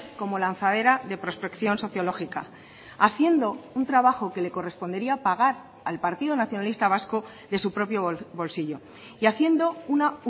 como lanzadera de prospección sociológica haciendo un trabajo que le correspondería pagar al partido nacionalista vasco de su propio bolsillo y haciendo una